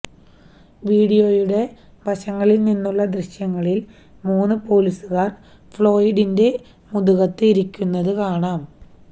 വീഡിയോയുടെ വശങ്ങളില് നിന്നുള്ള ദൃശ്യങ്ങളില് മൂന്ന് പോലീസുകാര് ഫ്ളോയിഡിന്റെ മുതുകത്ത് ഇരിക്കുന്നത് കാണാം